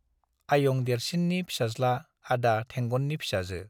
आयं देरसिननि फिसाज्ला आदा थेंगननि फिसाजो ।